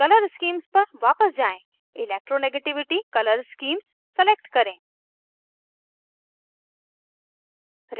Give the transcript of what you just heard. color schemes पर वापस जाएँ electronegativity color स्कीम्स select करें